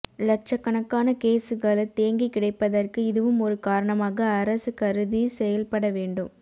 லட்ச்ச கணக்கான கேசுகள் தேங்கி கிடைப்பதற்கு இதுவும் ஒரு காரணமாக அரசு கருதி செயல் பட வேண்டும்